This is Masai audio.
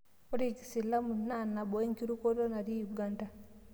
Ore kiislamu na nabo enkirukoto natii Uganda